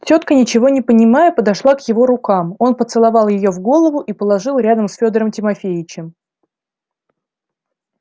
тётка ничего не понимая подошла к его рукам он поцеловал её в голову и положил рядом с фёдором тимофеичем